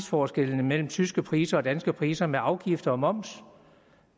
forskel der er mellem de tyske priser og de danske priser med afgifter og moms